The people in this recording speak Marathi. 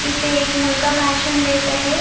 इथे एक मुलगा भाषण देत आहे.